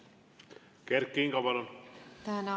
Kert Kingo, palun!